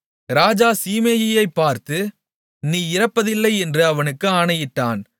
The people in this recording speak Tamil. ராஜா சீமேயியைப் பார்த்து நீ இறப்பதில்லை என்று அவனுக்கு ஆணையிட்டான்